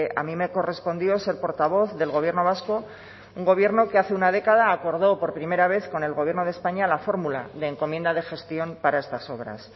a mí me correspondió ser portavoz del gobierno vasco un gobierno que hace una década acordó por primera vez con el gobierno de españa la fórmula de encomienda de gestión para estas obras